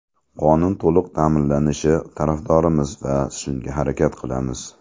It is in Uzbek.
Qonun to‘liq ta’minlanishi tarafdorimiz va shunga harakat qilamiz.